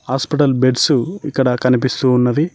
Hospital beds ఇక్కడ కనిపిస్తూ ఉన్నవి.